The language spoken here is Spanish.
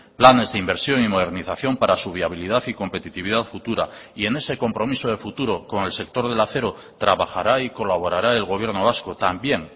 planes de inversión y modernización para su viabilidad y competitividad futura y en ese compromiso de futuro con el sector del acero trabajará y colaborará el gobierno vasco también